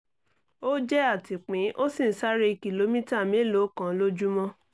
ó jẹ́ atìpín ó sì ń sáré kìlómítà mélòó kan lójúmọ́